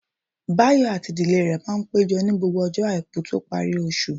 Báyọ̀ àti ìdílé rẹ̀ máa péjọ ní gbogbo ọjọ́ àìkú tó parí oṣù